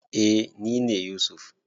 Eh nine Yusuf.